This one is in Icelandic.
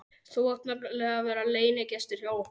Þú átt nefnilega að vera leynigestur hjá okkur!